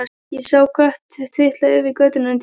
Ég sá kött trítla yfir götuna undir bíl.